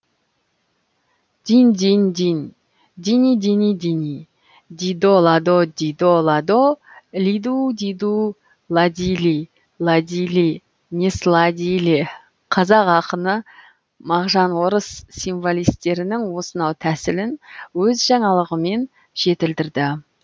динь динь динь дини дини дини дидо ладо дидо ладо лиду диду ладили ладили не сладили қазақ ақыны мағжан орыс символистерінің осынау тәсілін өз жаңалығымен жетілдірді